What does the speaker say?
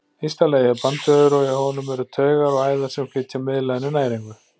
Ysta lagið er bandvefur og í honum eru taugar og æðar sem flytja miðlaginu næringu.